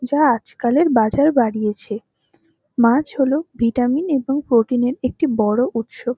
যা আজকালের বাজার বাড়িয়েছে। মাছ হল ভিটামিন এবং প্রোটিন -এর একটি বড় উৎস।